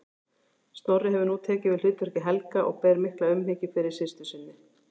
Snorri hefur nú tekið við hlutverki Helga og ber mikla umhyggju fyrir systur sinni.